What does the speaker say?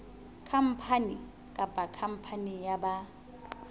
khampani kapa khampani ya ba